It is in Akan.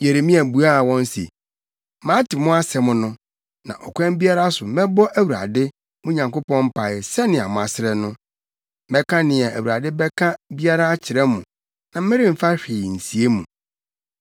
Yeremia buaa wɔn se, “Mate mo asɛm no, na ɔkwan biara so mɛbɔ Awurade, mo Nyankopɔn mpae sɛnea moasrɛ no; mɛka nea Awurade bɛka biara akyerɛ mo na meremfa hwee nsie mo.”